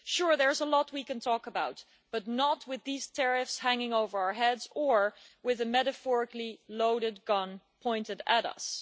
Sure there's a lot we can talk about, but not with these tariffs hanging over our heads or with a metaphorically loaded gun pointed at us.